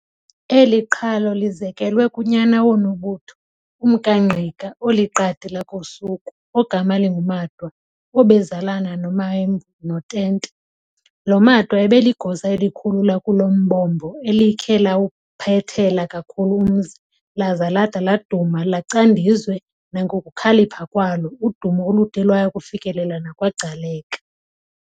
Eli qhalo lizekelwe kunyana woNobutho, umkaNgqika, oliqadi lakoSuthu, ogama linguMatwa, obezalana noMaembu noTente. Lo Matwa ubeligosa elikhulu lakulombombo elikhe lawuphethela kakhulu umzi, laza lada laduma lacandizwe nangokukhalipha kwalo, udumo olude lwaya kufikelela nakwaGcaleka.